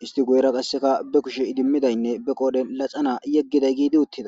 hist ba guyera qase ba kushshenne ba qoren laxana yegidi utida.